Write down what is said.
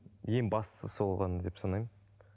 ең бастысы сол ғана деп санаймын